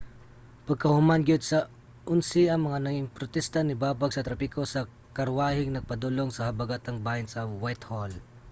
pagkahuman gyud sa 11:00 ang mga ningprotesta nibabag sa trapiko sa karwaheng nagpadulong sa habagatang bahin sa whitehall